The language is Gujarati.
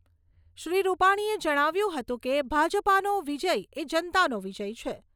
શ્રી રૂપાણીએ જણાવ્યું હતું કે, ભાજપાનો વિજય એ જનતાનો વિજય છે.